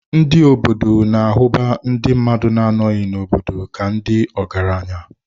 Ndị ime obodo na-ahụbu ndị mmadụ na-anọ n'obodo ka ndị ọgaranya.